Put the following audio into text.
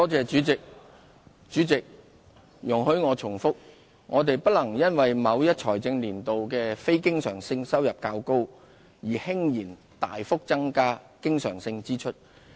主席，請容許我重複，我們不能因為某一財政年度的非經常性收入較高而輕言大幅增加經常性支出。